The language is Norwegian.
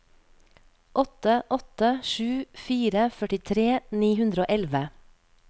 åtte åtte sju fire førtitre ni hundre og elleve